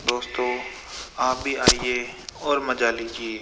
दोस्तों आप भी आइए और मजा लीजिए।